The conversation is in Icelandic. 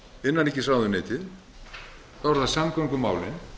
innanríkisráðuneytið þá eru það samgöngumálin